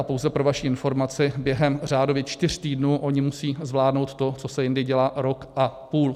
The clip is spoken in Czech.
A pouze pro vaši informaci, během řádově čtyř týdnů oni musí zvládnout to, co se jindy dělá rok a půl.